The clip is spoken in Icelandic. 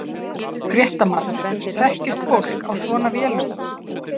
Fréttamaður: Þekkist fólk á svona vélum?